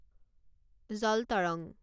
জল তৰং